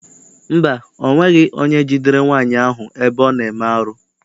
Mba, ọ nweghị onye jidere nwaanyị ahụ ebe ọ na-eme arụ.